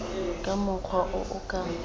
ka mokgwa o o ka